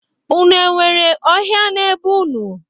Unu e nwere ọhia na be unu?